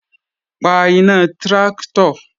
Pa iná tráktọ̀!